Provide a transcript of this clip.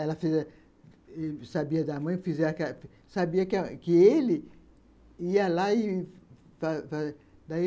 Ela sabia da mãe, sabia que ele ia lá